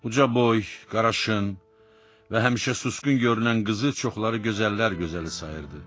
Uca boy, qaraşın və həmişə susqun görünən qızı çoxları gözəllər gözəli sayırdı.